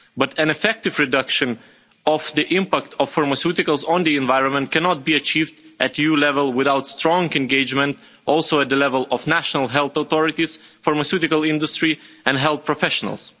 But an effective reduction of the impact of pharmaceuticals on the environment cannot be achieved at EU level without strong engagement also at the level of national health authorities, the pharmaceutical industry and health professionals.